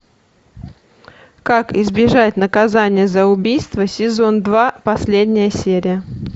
как избежать наказания за убийство сезон два последняя серия